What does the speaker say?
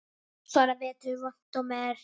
Svona vetur vont er mein.